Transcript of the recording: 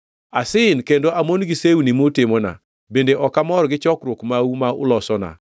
“Asin kendo amon gi sewni mutimona, bende ok amor gi chokruok mau ma ulosona.